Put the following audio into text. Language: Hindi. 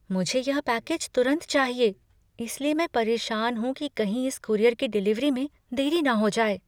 मुझे यह पैकेज तुरंत चाहिए, इसलिए मैं परेशान हूँ कि कहीं इस कूरियर की डिलीवरी में देरी न हो जाए।